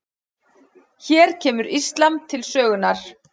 Hér kemur íslam til sögunnar.